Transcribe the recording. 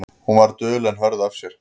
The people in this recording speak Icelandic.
Hún var dul en hörð af sér.